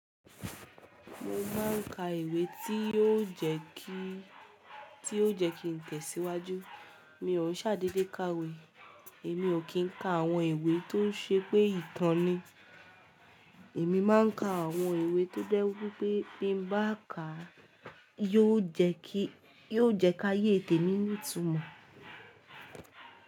Mo máa ń ka ìwé tí yóò jẹ́ kí, tí ó jẹ́ kí n tẹ̀síwájú. Mi ò ṣàdédé káwe. Èmi ò kí ń ka àwọn ìwé tó ṣe pé ìtàn ni. Èmi máa ń ka àwọn ìwé tó je wipé bí mo bá kà á, yóò jẹ́ kí, yóò jẹ́ ká yé tẹ̀mí nítù mó.